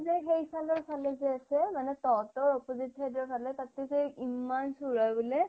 যে সেইফালৰ ফালে যে আছে মানে তহঁতৰ opposite side ৰ ফালে তাতে যে ইমান চুৰ হয় বুলে।